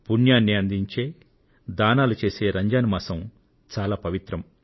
పుణ్యాన్ని అందించే దానాలు చేసే రంజాన్ మాసం చాలా పవిత్రం